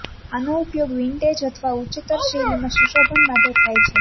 આનો ઉપયોગ વિન્ટેજ અથવા ઉચ્ચતર શૈલીમાં સુશોભન માટે થાય છે